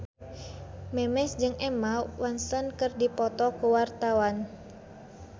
Memes jeung Emma Watson keur dipoto ku wartawan